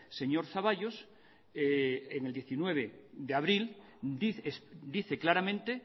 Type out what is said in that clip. señor zaballos el diecinueve de abril dice claramente